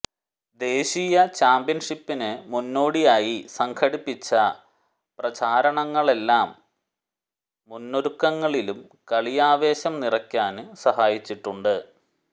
ദേശീയ ചാന്പ്യന്ഷിപ്പിന് മുന്നോടിയായി സംഘടിപ്പിച്ച പ്രചാരണങ്ങളെല്ലാം മുന്നൊരുക്കങ്ങളിലും കളിയാവേശം നിറയ്ക്കാന് സഹായിച്ചിട്ടുണ്ട്